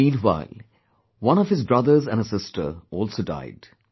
Meanwhile, one of his brothers and a sister also died